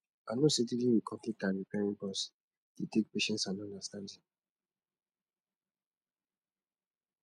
i know say dealing with conflicts and repairing bonds dey take patience and understanding